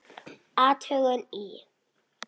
Athugun í